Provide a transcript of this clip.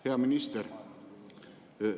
Hea minister!